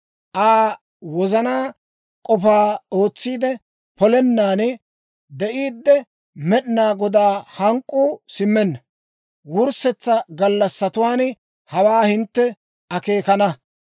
Aa wozanaa k'ofaa ootsiide polennan de'iiddi, Med'inaa Godaa hank'k'uu simmenna. Wurssetsa gallassatuwaan hawaa hintte akeekana.